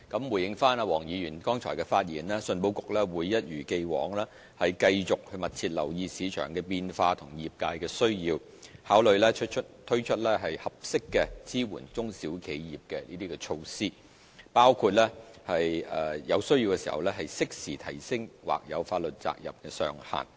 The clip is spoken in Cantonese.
回應黃議員剛才的發言，信保局會一如既往，繼續密切留意市場的變化和業界的需要，考慮推出適合支援中小企業的措施，包括在有需要時適時提升或有法律責任的上限。